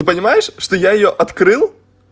ты понимаешь что я её открыл